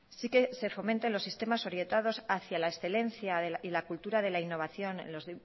sí que se fomenten los sistemas orientados hacia la excelencia y la cultura de la innovación en los